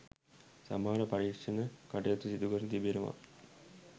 සමහර පරීක්‍ෂණ කටයුතු සිදුකර තිබෙනවා.